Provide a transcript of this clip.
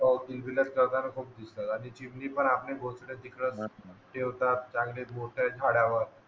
हो किलबिलाट करताना खूप दिसतात चिमणी पण आपले घोंसले चिखलात ठेवतात चांगले झुलतात झाडावर